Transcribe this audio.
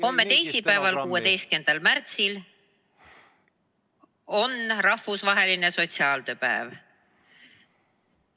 Homme, teisipäeval, 16. märtsil on rahvusvaheline sotsiaaltööpäev.